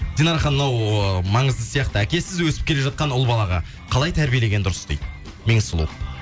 динара ханым мынау ы маңызды сияқты әкесіз өсіп келе жатқан ұл балаға қалай тәрбиелеген дұрыс дейді меңсұлу